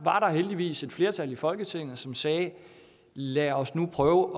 heldigvis et flertal i folketinget som sagde lad os nu prøve